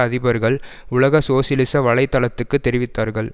அதிபர்கள் உலக சோசியலிச வலை தளத்துக்கு தெரிவித்தார்கள்